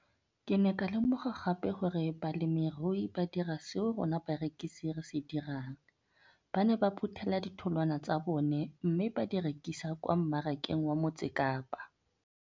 Ke ne ka lemoga gape gore balemirui ba dira seo rona barekisi re se dirang, ba ne ba phuthela ditholwana tsa bona mme ba di rekisa kwa marakeng wa Motsekapa.